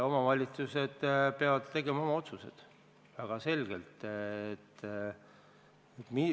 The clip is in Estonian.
Omavalitsused peavad tegema otsused, väga selged otsused.